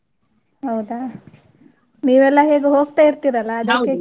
ಹೌದಾ? ನೀವೆಲ್ಲಾ ಹೇಗೋ ಹೋಗ್ತಾ ಇರ್ತಿರಿ ಅಲ್ಲಾ .